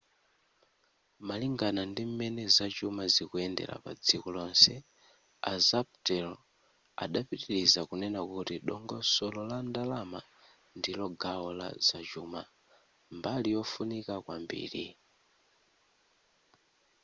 malingana ndim'mene zachuma zikuyendera padziko lonse a zapatero adapitiliza kunena kuti dongosolo la ndalama ndilo gawo la zachuma mbali yofunika kwambiri